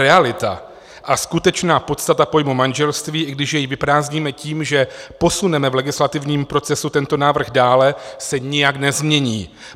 Realita a skutečná podstata pojmu manželství, i když jej vyprázdníme tím, že posuneme v legislativním procesu tento návrh dále, se nijak nezmění.